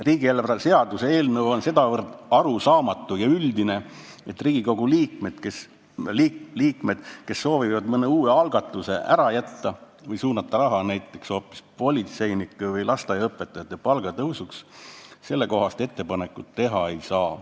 Riigieelarve seaduse eelnõu on sedavõrd arusaamatu ja üldine, et Riigikogu liikmed, kes soovivad mõne uue algatuse ära jätta või suunata mingi summa näiteks hoopis politseinike või lasteaiaõpetajate palga tõusuks, sellekohast ettepanekut teha ei saa.